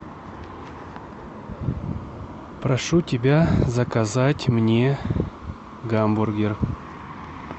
прошу тебя заказать мне гамбургер